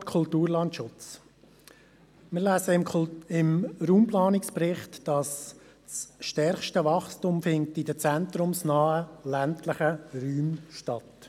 Zum Stichwort Kulturlandschutz: Im Raumplanungsbericht ist zu lesen, das stärkste Wachstum finde in den zentrumsnahen ländlichen Räumen statt.